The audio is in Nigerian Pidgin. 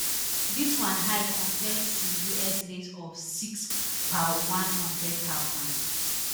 dis one high compare to us rate of six per one hundred thousand